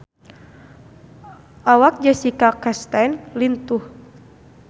Awak Jessica Chastain lintuh